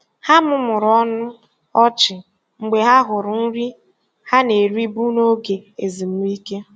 Ha mumuru ọnụ ọchị mgbe ha hụrụ nri ha na-eribu n'oge ezumike.